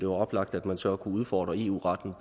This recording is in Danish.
oplagt at man så kunne udfordre eu retten